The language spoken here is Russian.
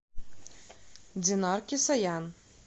динар кисаян